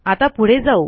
आता पुढे जाऊ